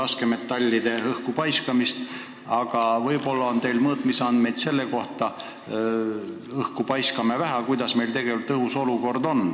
Seega õhku paiskame neid suhteliselt vähe, aga kas teil on mõõtmisandmeid ka selle kohta, milline meie õhu seisukord tegelikult on?